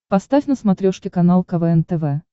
поставь на смотрешке канал квн тв